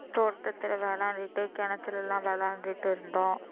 தோட்டத்துல விளையாண்டிட்டு கிணத்துல எல்லாம் விளையாண்டுட்டு இருந்தோம்